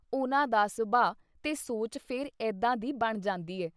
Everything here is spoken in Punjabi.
ਉਹਨਾਂ ਦਾ ਸੁਭਾਅ ਤੇ ਸੋਚ ਫਿਰ ਏਦਾਂ ਦੀ ਬਣ ਜਾਂਦੀ ਹੈ।